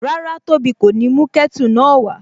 Rárá, tóbi kò ní mú kẹ́tù náà wá